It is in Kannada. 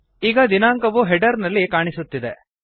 ಈಗ ದಿನಾಂಕವು ಹೆಡರ್ ನಲ್ಲಿ ಕಾಣಿಸುತ್ತಿದೆ